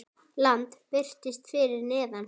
Land birtist fyrir neðan þá.